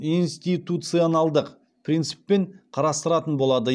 институционалды принциппен қарастыратын болады